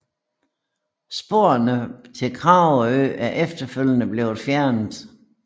Sporene til Kragerø er efterfølgende blevet fjernet